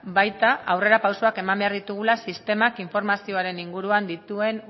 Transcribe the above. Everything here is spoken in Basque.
baita aurrerapausoak eman behar ditugula sistemak informazioaren inguruan dituen